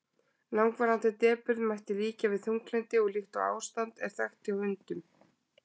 langvarandi depurð mætti líkja við þunglyndi og slíkt ástand er þekkt hjá hundum